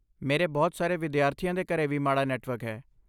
ਮੇਰੇ ਬਹੁਤ ਸਾਰੇ ਵਿਦਿਆਰਥੀਆਂ ਦੇ ਘਰੇ ਵੀ ਮਾੜਾ ਨੈੱਟਵਰਕ ਹੈ।